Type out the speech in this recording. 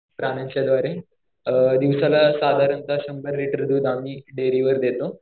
अ दिवसाला साधारणतः शंभर लिटर दूध आम्ही डेअरीवर देतो.